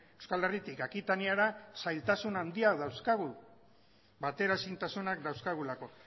euskal herritik akitaniara zailtasun handiak dauzkagula bateraezintasunak dauzkagulako